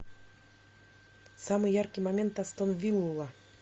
самый яркий момент астон вилла